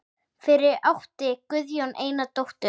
Fyrir átti Guðjón eina dóttur.